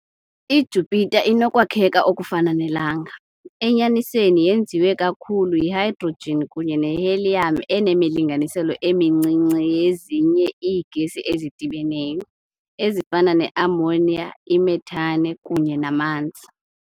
I-Jupiter inokwakheka okufana neLanga - enyanisweni yenziwe kakhulu yi -hydrogen kunye ne-helium enemilinganiselo emincinci yezinye iigesi ezidibeneyo, ezifana ne-ammonia i-methane kunye namanzi.